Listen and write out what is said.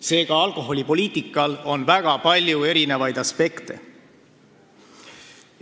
Seega on alkoholipoliitikal väga palju aspekte.